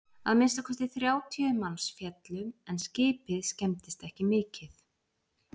að minnsta kosti þrjátíu manns féllu en skipið skemmdist ekki mikið